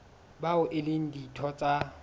bao e leng ditho tsa